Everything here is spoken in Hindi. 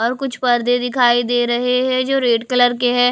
और कुछ पर्दे दिखाई दे रहें हैं जो रेड कलर के हैं।